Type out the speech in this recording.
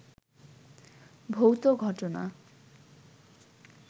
ভৌত ঘটনা